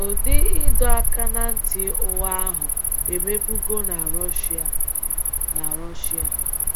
Ụdị ịdọ aka ná ntị ụgha ahụ emebụgọ na Russia. na Russia.